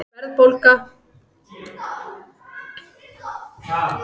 Hvammsmeli